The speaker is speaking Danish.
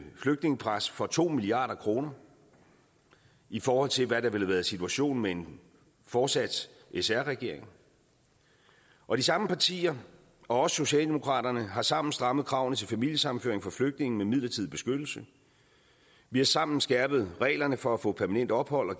flygtningepres for to milliard kroner i forhold til hvad der ville have været situationen med en fortsat sr regering og de samme partier og også socialdemokraterne har sammen strammet kravene til familiesammenføring for flygtninge med midlertidig beskyttelse vi har sammen skærpet reglerne for at få permanent ophold og